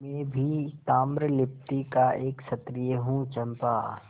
मैं भी ताम्रलिप्ति का एक क्षत्रिय हूँ चंपा